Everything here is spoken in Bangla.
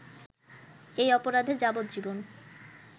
এই অপরাধে যাবজ্জীবন